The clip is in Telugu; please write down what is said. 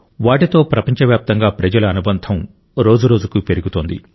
వాటితో ప్రపంచవ్యాప్తంగా ప్రజల అనుబంధం రోజురోజుకూ పెరుగుతోంది